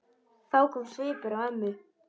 Þá kom svipur á ömmu.